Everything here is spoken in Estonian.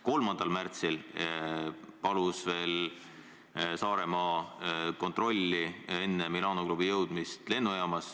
3. märtsil palusime, et tehtaks kontroll lennujaamas enne Milano klubi jõudmist Saaremaale.